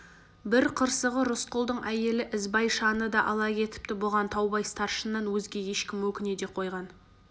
бір қырсығы рысқұлдың әйелі ізбайшаны да ала кетіпті бұған таубай старшыннан өзге ешкім өкіне де қойған